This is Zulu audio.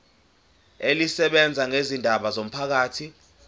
elisebenza ngezindaba zomphakathi